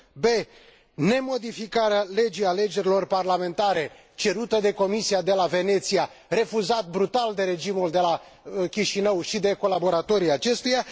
b nemodificarea legii alegerilor parlamentare, cerută de Comisia de la Veneția, dar refuzată brutal de regimul de la Chișinău și de colaboratorii acestuia